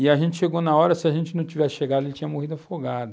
E a gente chegou na hora, se a gente não tivesse chegado, ele tinha morrido afogado.